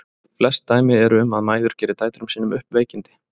Flest dæmi eru um að mæður geri dætrum sínum upp veikindi.